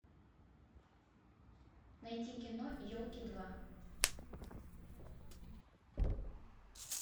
найти кино елки два